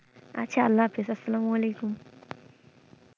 আচ্ছা আল্লা হাপিস আসালাম ওয়ালিকুম।